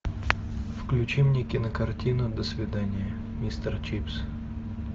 включи мне кинокартина до свидания мистер чипс